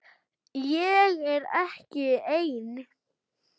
Ég er ekki ein.